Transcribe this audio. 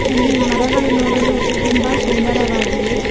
ಇಲ್ಲಿ ಮರಗಳು ನೋಡಲು ತುಂಬ ಸುಂದರವಾಗಿವೆ.